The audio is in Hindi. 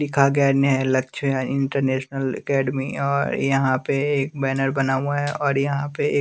दिखा गया न्हेह लक्ष्य हैं इंटरनेशनल एकेडमी और यहां पे एक बैनर बना हुआ हैं और यहां पे एक--